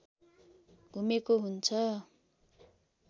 घुमेको हुन्छ